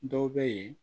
Dɔw bɛ yen